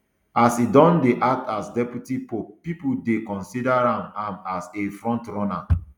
as e don dey act as deputy pope pipo dey consider am am as a frontrunner